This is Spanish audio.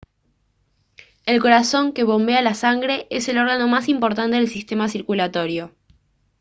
el corazón que bombea la sangre es el órgano más importante del sistema circulatorio